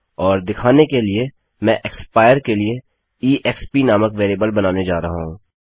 और दिखाने के लिए मैं एक्सपायर के लिए ईएक्सपी नामक वेरिएबल बनाने जा रहा हूँ